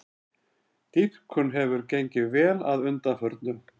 Dýpkun hefur gengið vel að undanförnu